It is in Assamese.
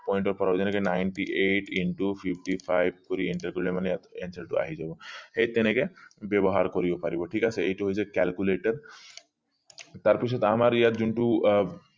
যেনেকে ninety eight fifty into five কৰি enter কৰিলে মানে আপুনি answer টো আহি যাব সেই তেনেকে ব্যৱহাৰ কৰিব পাৰিব ঠিক আছে এইটো হৈছে calculator তাৰ পিছত আমাৰ ইয়াত যোনটো আহ